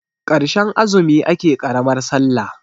karshen azumi ake karamar sallah